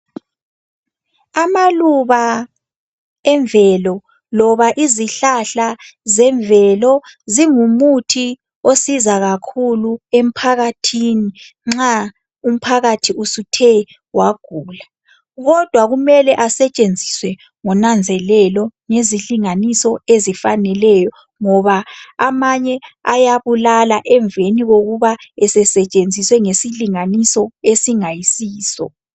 Amaluba emvelo loba izihlahla zemvelo zingumuthi osiza kakhulu emphakathini nxa umphakathi usuthe wagula. Kodwa kumele asetshenziswe ngonanzelelo ngezilinganiso ezifaneleyo. Ngoba amanye ayabulala emveni kokuba esesetshenziswe ngesilinganiso esingayisiso.